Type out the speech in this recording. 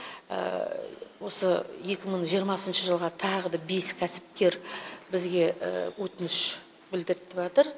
осы екі мың жиырмасыншы жылға тағы да бес кәсіпкер бізге өтініш білдіртіватыр